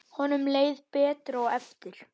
Honum leið betur á eftir.